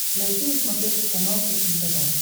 найти на смотрешке канал фэшен тв